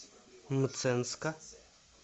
мценска